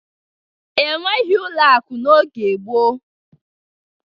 E nweghi ụlọ akụ n'oge gboo.